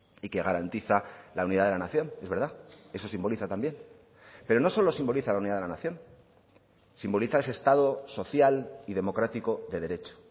y que garantiza la unidad de la nación es verdad eso simboliza también pero no solo simboliza la unidad de la nación simboliza ese estado social y democrático de derecho